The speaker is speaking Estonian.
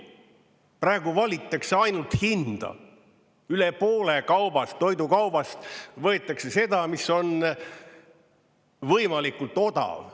Praegu valitakse ainult hinda, üle poole kaubast, toidukaubast, võetakse seda, mis on võimalikult odav.